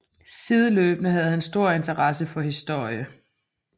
Sideløbende havde han stor interesse for historie